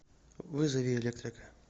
вызови электрика